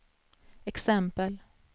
exempel